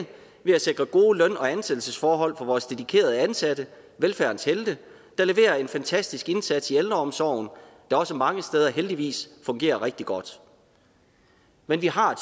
ved at sikre gode løn og ansættelsesforhold for vores dedikerede ansatte velfærdens helte der leverer en fantastisk indsats i ældreomsorgen der også mange steder heldigvis fungerer rigtig godt men vi har